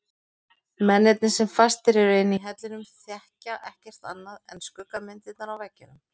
Mennirnir sem fastir eru inni í hellinum þekkja ekkert annað en skuggamyndirnar á veggnum.